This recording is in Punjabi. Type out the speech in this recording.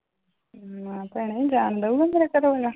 ਨਾ ਭੈਣੇ ਜਾਣ ਦਊਗਾ